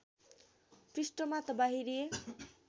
पृष्ठमा त बाहिरिए